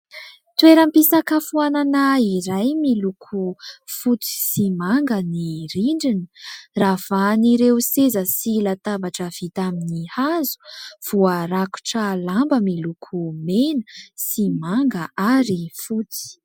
Toeram-pisakafoanana iray miloko fotsy sy manga ny rindrina ravahan'ireo seza sy latabatra vita amin'ny hazo voarakotra lamba miloko mena sy manga ary fotsy.